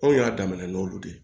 Anw y'a damana n'olu de ye